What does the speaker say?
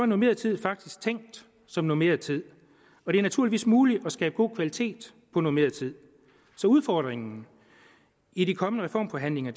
normeret tid faktisk tænkt som normeret tid og det er naturligvis muligt at skabe god kvalitet på normeret tid så udfordringen i de kommende reformforhandlinger